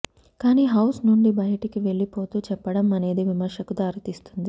కానీ హౌస్ నుండి బయటికి వెళ్ళిపోతూ చెప్పడం అనేది విమర్శకు దారితీస్తుంది